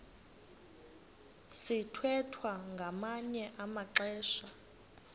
sithwethwa ngamanye amaxesha